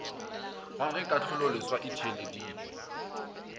ga ge kahlololeswa e theeleditšwe